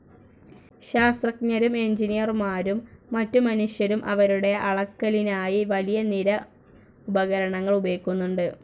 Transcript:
ശാസ്ത്രജ്ഞരും എഞ്ചിനീയർമാരും മറ്റു മനുഷ്യരും അവരുടെ അളക്കലിനായി വലിയ നിര ഉപകരണങ്ങൾ ഉപയോഗിക്കുന്നുണ്ട്.